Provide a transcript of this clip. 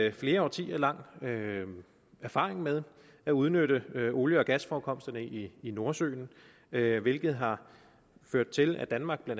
en flere årtier lang erfaring med at udnytte olie og gasforekomsterne i i nordsøen hvilket har ført til at danmark bla